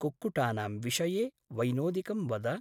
कुक्कुटानां विषये वैनोदिकं वद।